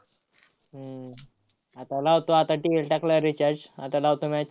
हम्म आता लावतो आता TV वर टाकला recharge आता लावतो match